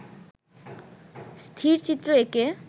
স্থিরচিত্র এঁকে